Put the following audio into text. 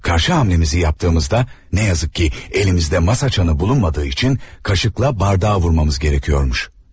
Əks gedişimizi etdiyimizdə, təəssüf ki, əlimizdə masa zəngi olmadığı üçün qaşıqla stəkana vurmalıymışıq.